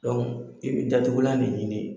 i bi datugulan de ɲini.